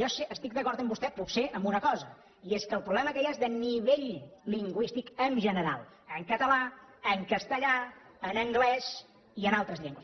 jo estic d’acord amb vostè potser en una cosa i és que el problema que hi ha és de nivell lingüístic en general en català en castellà en anglès i en altres llengües